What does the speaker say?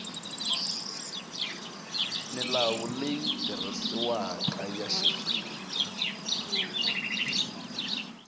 milawu leyi tirhisiwaka ya xifundza